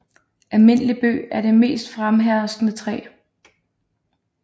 Almindelig Bøg er det mest fremherskende træ